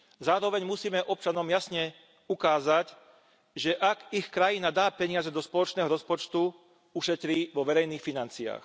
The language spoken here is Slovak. Zároveň musíme občanom jasne ukázať, že ak ich krajina dá peniaze do spoločného rozpočtu, ušetrí vo verejných financiách.